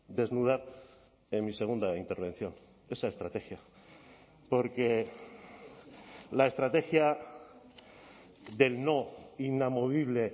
desnudar en mi segunda intervención esa estrategia porque la estrategia del no inamovible